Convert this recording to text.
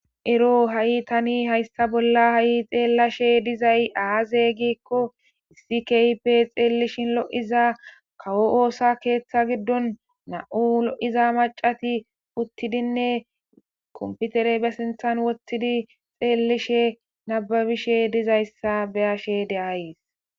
Ero ha'i tani hayssa bolla ha'i xeellashe dizay aaze giikko issi kaype xeellishin lo'iza kawo oosa keeththa giddon na'u lo'iza macati puttidinne komputere be sinthan woththidi xeellishe nababishe dizayssa beyashe deayis